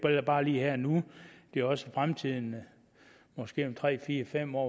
bare lige her og nu men det er også i fremtiden måske om tre fire fem år